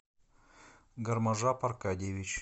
гарможап аркадьевич